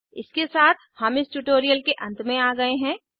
इसके साथ हम इस ट्यूटोरियल के अंत में आ गए हैं